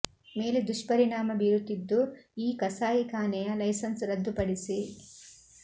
ಮೇಲೆ ದುಷ್ಪರಿಣಾಮ ಬೀರುತ್ತಿದ್ದು ಈ ಕಸಾಯಿ ಖಾನೆಯ ಲೈಸನ್ಸ್ ರದ್ದು ಪಡಿಸಿ